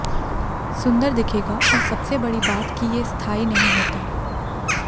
सुंदर दिखेगा और सबसे बड़ी बात कि ये स्थायी नहीं होता